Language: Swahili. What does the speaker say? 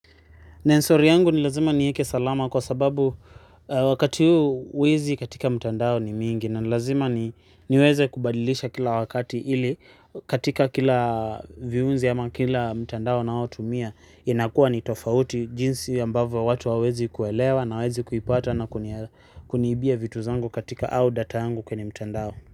Neno siri yangu ni lazima nieke salama kwa sababu wakati huu wezi katika mtandao ni wengi na nilazima niwezekubadilisha kila wakati ili katika kila viunzi ama kila mtandao ninaotumia inakuwa ni tofauti jinsi ya ambavyo watu hawawezi kuelewa na hawawezi kuipata na kuniibia vitu zangu katika au data yangu kwenye mtandao.